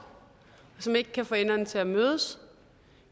som ikke kan få enderne til at mødes